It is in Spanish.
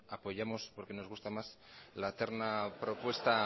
apoyamos porque nos gusta más la terna propuesta